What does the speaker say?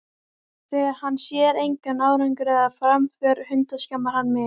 Þegar hann sér engan árangur eða framför hundskammar hann mig.